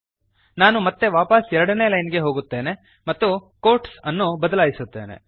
ನಾನು ಮತ್ತೆ ವಾಪಸ್ 2ನೇ ಲೈನ್ ಗೆ ಹೋಗುತ್ತೇನೆ ಮತ್ತು ಕ್ವೋಟ್ಸ್ ಅನ್ನು ಬದಲಾಯಿಸುತ್ತೇನೆ